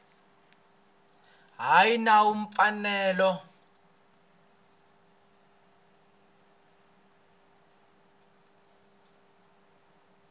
ya hi nawu na mfanelo